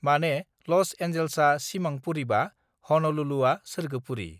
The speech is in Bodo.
माने लज एनजल्सआ सिमां पुरीबा हनलुलुआ सोरगोपुरी